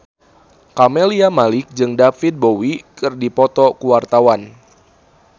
Camelia Malik jeung David Bowie keur dipoto ku wartawan